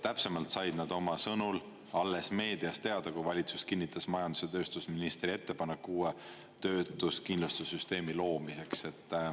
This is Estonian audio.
Täpsemalt said nad oma sõnul alles meediast teada, kui valitsus kinnitas majandus- ja tööstusministri ettepaneku uue töötuskindlustuse süsteemi loomiseks.